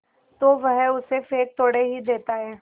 तो वह उसे फेंक थोड़े ही देता है